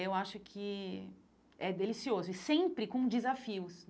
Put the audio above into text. Eu acho que é delicioso e sempre com desafios.